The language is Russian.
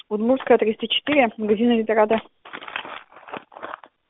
удмуртская триста четыре магазин эльдорадо